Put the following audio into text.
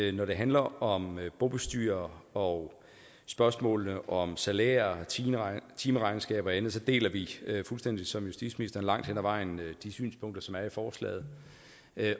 at når det handler om bobestyrere og spørgsmålene om salærer timeregnskaber og andet så deler vi fuldstændig som justitsministeren langt hen ad vejen de synspunkter som er i forslaget